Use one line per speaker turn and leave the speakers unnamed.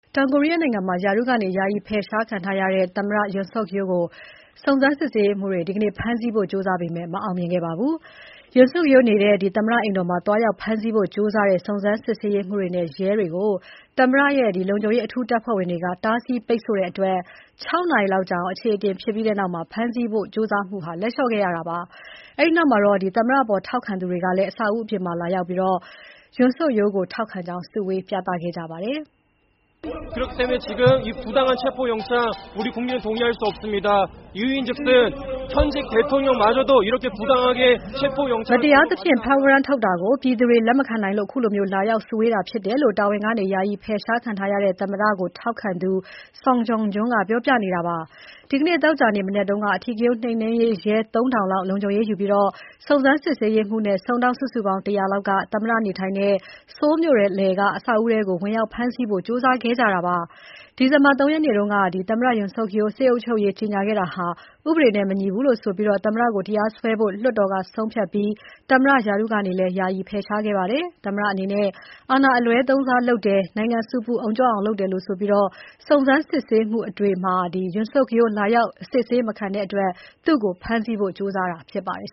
တောင်ကိုရီးယားနိုင်ငံမှာ တာဝန်ကနေ ယာယီဖယ်ရှားခံထားရတဲ့ သမ္မတ Yoon Suk Yeol ကို စုံစမ်စစ်ဆေးရေးမှူးတွေ ဒီနေ့ ဖမ်းဆီးဖို့ ကြိုးစားပေမဲ့ မအောင်မြင်ခဲ့ပါဘူး။ Yoon Suk Yeol နေထိုင်နေတဲ့ သမ္မတအိမ်တော်မှာ သွားရောက်ဖမ်းဆီးဖို့ ကြိုးစားတဲ့ စုံစမ်းရေးမှူးတွေနဲ့ရဲတွေကို သမ္မတအထူးလုံခြုံရေးတပ်ဖွဲ့ဝင်တွေက တားဆီးပိတ်ဆို့ထားတဲ့အတွက် ၆ နာရီလောက်ကြာအောင် အခြေအတင်ဖြစ်ခဲ့ပြီးနောက် ဖမ်းဆီးဖို့ကြိုးပမ်းမှုကို လက်လျှော့ခဲ့ရတာ ဖြစ်ပါတယ်။ အဲဒီနောက် သမ္မတအပေါ် ထောက်ခံသူတွေကလည်း အဆောက်အဦးအပြင်မှာ လာရောက်စုဝေးပြီး Yoon Suk Yeol ကိုထောက်ခံကြောင်း ပြသခဲ့ကြပါတယ်။ “
မတရ
ားသဖြင့် ဖမ်းဝရမ်းထုတ်တာကို ပြည်သူတွေ လက်မခံနိုင်လို့ ခုလို လာရောက်စုဝေးတာ ဖြစ်တယ်” လို့ တာဝန်ကနေ ယာယီဖယ်ရှားခံထားရတဲ့ သမ္မတ Yoon Suk Yeol ကို ထောက်ခံသူ Song Jong-jun ကပြောနေတာဖြစ်ပါတယ်။ ဒီနေ့ သောကြာနေ့ မနက်က အဓိကရုဏ်းနှိမ်နှင်းရေးရဲ ၃,၀၀၀ လောက် လုံခြုံရေးယူပြီး စုံစမ်းစစ်ဆေးရေးမှူးနဲ့ စုံထောက်စုစုပေါင်း ၁၀၀ လောက်က သမ္မတ နေထိုင်နေတဲ့ Seoul မြို့လယ်က အဆောက်အဦးထဲကို ဝင်ရောက်ဖမ်းဆီးဖို့ ကြိုးစားခဲ့ကြတာပါ။ ဒီဇင်ဘာ ၃ ရက်နေ့တုန်းက သမ္မတ Yoon Suk Yeol စစ်အုပ်ချုပ်ရေးကြေညာခဲ့တာဟာ ဥပဒေနဲ့ မညီဘူးလို့ဆိုပြီး သမ္မတကို တရားစွဲဖို့ လွှတ်တော်ကဆုံးဖြတ်ပြီး သမ္မတရာထူးကနေလည်း ယာယီဖယ်ရှားခဲ့ပါတယ်။ သမ္မတအနေနဲ့ အာဏာအလွဲသုံးစားလုပ်တယ်၊ နိုင်ငံ ဆူပူအုံကြွအောင် လုပ်တယ်လို့ဆိုပြီး စုံစမ်းစစ်ဆေးမှုတွေအတွက် Yoon Suk Yeol ကလာရောက် အစစ်ဆေး မခံတဲ့အတွက် သူ့ကို ဖမ်းဆီးဖို့ ကြိုးစားတာဖြစ်ပါတယ်